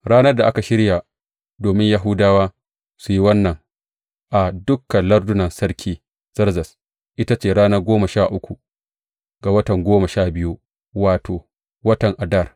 Ranar da aka shirya domin Yahudawa su yi wannan a dukan lardunan Sarki Zerzes, ita ce ranar goma sha uku ga watan goma sha biyu, wato, watan Adar.